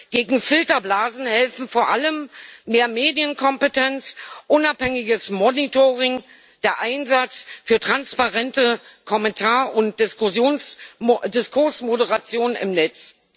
Gegen Filterblasen helfen vor allem mehr Medienkompetenz, unabhängiges Monitoring, der Einsatz für transparente Kommentar und Diskursmoderation im Netz.